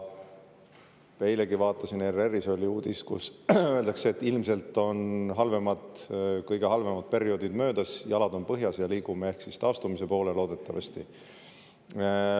Eilegi vaatasin, ERR-is oli uudis, kus öeldakse, et ilmselt on kõige halvemad perioodid möödas, jalad on põhjas ja ehk liigume taastumise poole – loodetavasti.